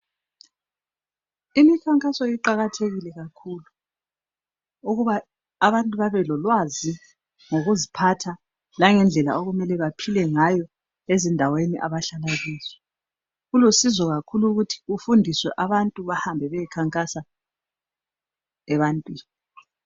imikhankaso iqhakathekile kakhulu ukuba abantu babe lolwazi lokuzphatha langendlela okumele bephilengazo ezindaweni abahlala kizo kulusizo kakhulu kufundiswe abantu behambe beyekhankasa ebantwini